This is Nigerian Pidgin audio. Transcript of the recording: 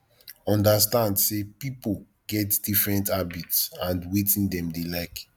understand sey pipo get different habits and wetin dem dey like